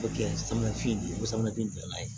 O kɛ samanafini ko samanafi don n'a ye